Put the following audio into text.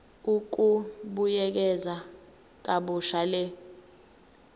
ukubuyekeza kabusha le